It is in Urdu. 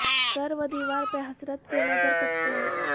در و دیوار پہ حسرت سے نظر کرتے ہیں